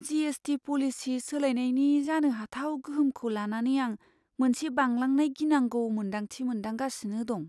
GST. Policy सोलायनायनि जानो हाथाव गोहोमखौ लानानै आं मोनसे बांलांनाय गिनांगौ मोन्दांथि मोनदांगासिनो दं।